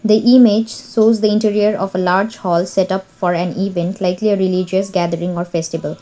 the image shows the interior of a large hall setup for an event likely a religious gathering or festival.